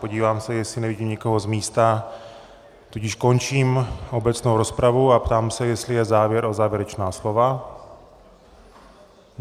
Podívám se, jestli nevidím nikoho z místa, tudíž končím obecnou rozpravu a ptám se, jestli je zájem o závěrečná slova.